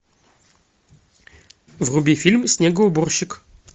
вруби фильм снегоуборщик